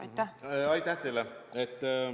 Aitäh teile!